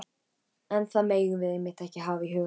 En það megum við einmitt ekki hafa í huga.